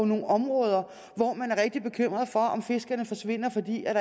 nogle områder hvor man er rigtig bekymrede for om fiskerne forsvinder fordi der